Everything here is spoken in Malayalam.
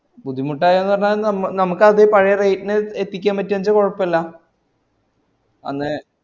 ബുദ്ധിമുട്ടയൊന്ന് പറഞ്ഞാൽ ഞമ്മക്കത് പഴയ rate ഇന് എത്തിക്കാൻ പറ്റാച്ച കൊഴപ്പല്ല അന്ന്